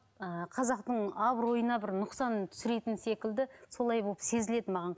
ыыы қазақтың абыройына бір нұқсан түсіретін секілді солай болып сезіледі маған